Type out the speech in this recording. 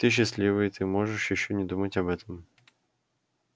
ты счастливый ты можешь ещё не думать об этом